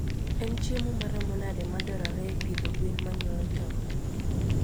En chiemo maromo nade madwarore e pidho gwen manyuolo tong?